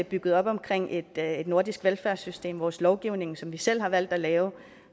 bygget op omkring et nordisk velfærdssystem vores lovgivning som vi selv har valgt at lave og